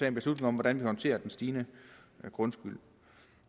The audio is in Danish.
en beslutning om hvordan man håndterer den stigende grundskyld